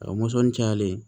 A mɔsɔn cayalen